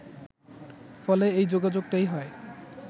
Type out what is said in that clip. ফলে এই যোগাযোগটাই হয়